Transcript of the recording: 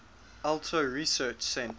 alto research center